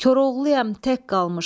Koroğluyam tək qalmışam.